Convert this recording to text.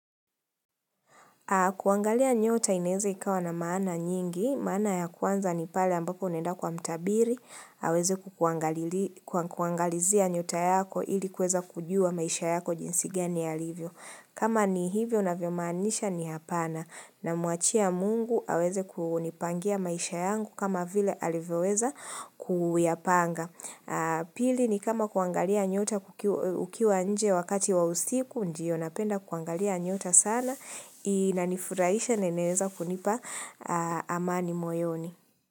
Kuangalia nyota inaeza ikawa na maana nyingi, maana ya kwanza ni pale ambapo unaenda kwa mtabiri, aweze kukuangalilia kuangalizia nyota yako ili kuweza kujua maisha yako jinsi gani yalivyo. Kama ni hivyo unavyomaanisha ni hapana namuachia mungu aweze kunipangia maisha yangu kama vile alivyoweza kuyapanga. Pili ni kama kuangalia nyota ukiwa nje wakati wa usiku, ndio napenda kuangalia nyota sana inanifurahisha inaeza kunipa amani moyoni.